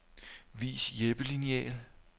Vis hjælpelineal.